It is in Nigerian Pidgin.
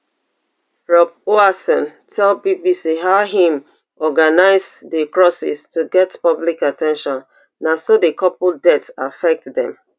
rob hoatson tell bbc how im organize di crosses to get public at ten tion na so di couple death affect dem